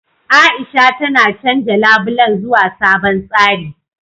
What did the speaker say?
A'isha tana canja labulen zuwa sabon tsari.